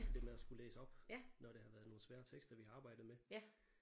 Det med at skulle læse op når det har været nogle svære tekster vi har arbejdet med